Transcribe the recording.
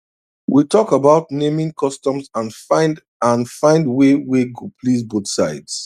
we talk about naming customs and find and find way wey go please both side